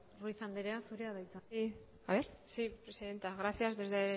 ruiz andrea zurea da hitza sí presidenta gracias desde